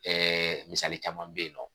misali caman bɛ yen nɔ